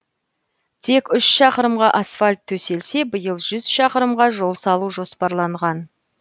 тек үш шақырымға асфальт төселсе биыл жүз шақырымға жол салу жоспарланған